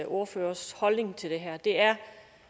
ordførers holdning til det her er